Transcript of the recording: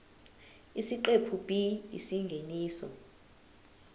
isiqephu b isingeniso